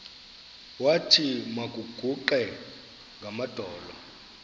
wathi makaguqe ngamadolo